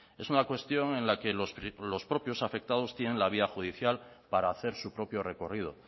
es una cuestión en la que los propios afectados tienen la vía judicial para hacer su propio recorrido